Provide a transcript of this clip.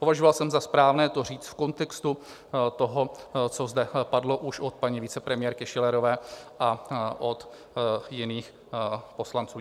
Považoval jsem za správné to říct v kontextu toho, co zde padlo už od paní vicepremiérky Schillerové a od jiných poslanců.